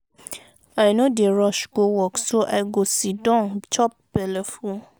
i no dey rush go work so i go siddon chop belle full.